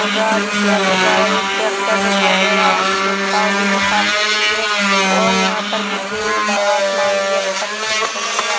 गाड़ी से आदमी जा रहा है एक ट्रैक्टर दिखाई दे रहा है जिसने ट्रोली भी साथ में ली है और यहाँ पर मुझे आसमान भी अच्छा देखने को मिल रहा है।